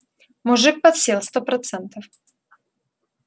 мужик подсел сто процентов